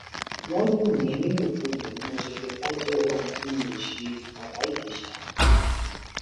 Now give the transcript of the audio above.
wọn lù mí nílùkulù ni mo ṣe fipá jẹwọ ohun tí mi ò ṣebàbá ìjèṣà